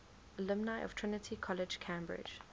alumni of trinity college cambridge